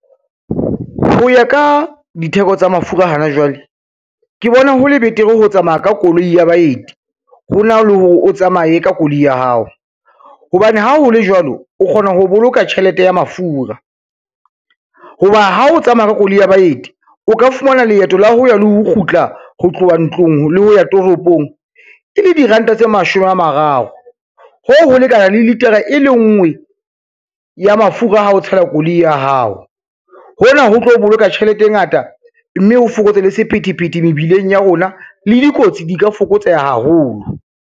Ho ya ka ditheko tsa mafura hana jwale, ke bona hole betere ho tsamaya ka koloi ya baeti hona le hore o tsamaye ka koloi ya hao, hobane ha ho le jwalo, o kgona ho boloka tjhelete ya mafura. Ho ba ha o tsamaya ka koloi ya baeti, o ka fumana leeto la ho ya le ho kgutla ho tloha ntlong le ho ya toropong, e le diranta tse mashome a mararo hoo ho lekana le litara e lenngwe ya mafura ha o tshela koloi ya hao, hona ho tlo boloka tjhelete e ngata, mme ho fokotse le sephethephethe mebileng ya rona le dikotsi di ka fokotseha haholo.